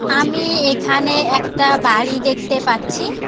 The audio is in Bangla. আমি এখানে একটা বাড়ি দেখতে পাচ্ছি।